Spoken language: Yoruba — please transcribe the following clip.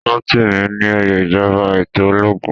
Rotimi ní óyè ìjọba eto ológun